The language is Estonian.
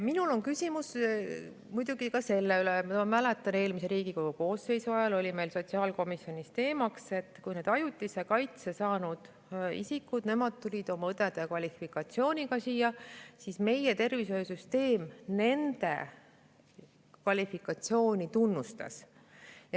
Minul on küsimus muidugi ka selle kohta, mis, ma mäletan, eelmise Riigikogu koosseisu ajal oli meil sotsiaalkomisjonis teemaks, et kui ajutise kaitse saanud isikute seas tuli siia õe kvalifikatsiooniga, siis meie tervishoiusüsteem nende kvalifikatsiooni tunnustas.